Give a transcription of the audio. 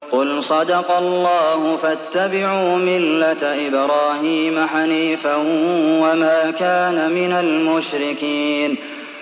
قُلْ صَدَقَ اللَّهُ ۗ فَاتَّبِعُوا مِلَّةَ إِبْرَاهِيمَ حَنِيفًا وَمَا كَانَ مِنَ الْمُشْرِكِينَ